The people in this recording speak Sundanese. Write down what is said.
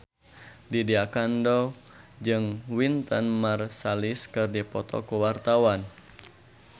Lydia Kandou jeung Wynton Marsalis keur dipoto ku wartawan